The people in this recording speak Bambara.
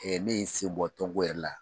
ne yen in sen bɔ tɔn ko yɛrɛ la